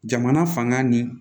Jamana fanga ni